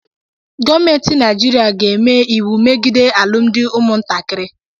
Gọọmenti Naịjirịa ga-eme iwu megide alụmdi ụmụntakịrị.